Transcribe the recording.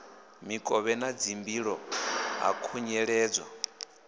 mikovhe na dzimbilo ha khunyeledzwa